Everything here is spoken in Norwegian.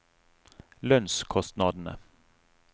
lønnskostnadene